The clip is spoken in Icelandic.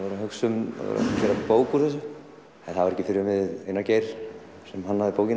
gera bók úr þessu það var ekki fyrr en Einar Geir sem hannaði bókina